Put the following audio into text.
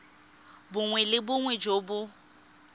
bongwe le bongwe jo bo